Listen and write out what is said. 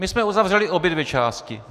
My jsme uzavřeli obě dvě části.